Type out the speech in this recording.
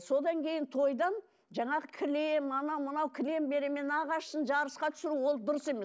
содан кейін тойдан жаңағы кілем анау мынау кілем беремін мен нағашысын жарысқа түсіру ол дұрыс емес